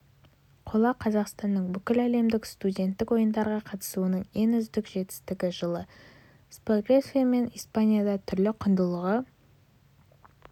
қола қазақстанның бүкіләлемдік студенттік ойындарға қатысуының ең үздік жетістігі жылы словакия мен испанияда түрлі құндылығы